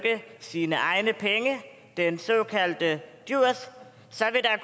sine egne penge den såkaldte djurs så